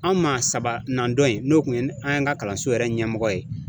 An maa sabanan dɔ in , n'o tun ye an ka kalanso yɛrɛ ɲɛmɔgɔ ye.